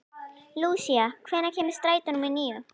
Lúsía, hvenær kemur strætó númer níu?